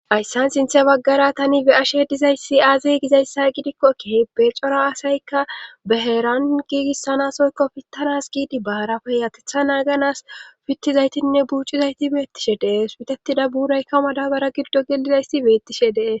Hayssan sinthe baggara tani be7ashe dizayssi aaze gizayssa gidikkokkehe becora asaykka baheeran giigissanasoykko fittanas giidi baarafe yatetha naaganas fittizaytinne buucizayti beettishe dee suputetida buuraykka madabara giddo gelidayssi beettishe dees